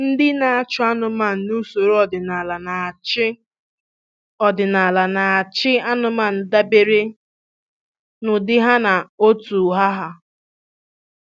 Ndị na-achị anụmanụ n'usoro ọdịnala na-achị ọdịnala na-achị anụmanụ dabere n'ụdị ha na otu ha ha.